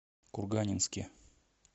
курганинске